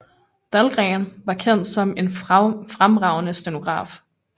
Dahlgren var kendt som en fremragende stenograf